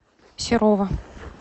серова